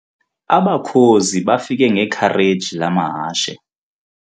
Abakhozi bafike ngekhareji lamahashe.